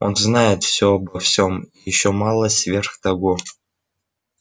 он знает все обо всем и ещё малость сверх того